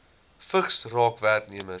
vigs raak werknemers